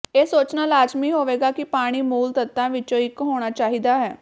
ਇਹ ਸੋਚਣਾ ਲਾਜ਼ਮੀ ਹੋਵੇਗਾ ਕਿ ਪਾਣੀ ਮੂਲ ਤੱਤਾਂ ਵਿੱਚੋਂ ਇੱਕ ਹੋਣਾ ਚਾਹੀਦਾ ਹੈ